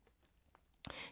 DR K